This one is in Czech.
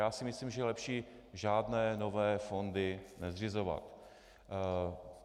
Já si myslím, že je lepší žádné nové fondy nezřizovat.